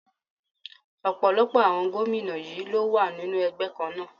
Ọ̀pọ̀lọpọ̀ àwọn gómìnà yí ló wà nínú ẹgbẹ́ kan náà.